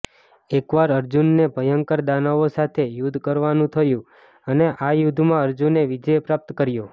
એકવાર અર્જુનને ભયંકર દાનવો સાથે યુદ્ધ કરવાનું થયું અને આ યુદ્ધમાં અર્જુને વિજય પ્રાપ્ત કર્યો